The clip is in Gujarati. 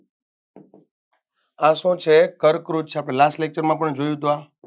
આ શું છે કર્કવૃત છે આપણે last lecture માં પણ જોયુંતું આ